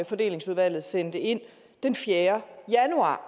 fordelingsudvalget sendte ind den fjerde januar